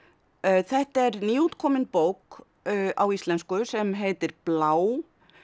þetta er nýútkomin bók á íslensku sem heitir blá